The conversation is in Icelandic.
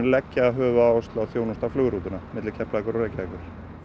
leggja höfuðáherslu á að þjónusta flugrútuna milli Keflavíkur og Reykjavíkur